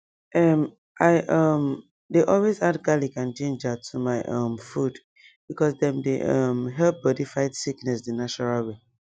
um i um dey always add garlic and ginger to my um food because dem dey um help bodi fight sickness the natural way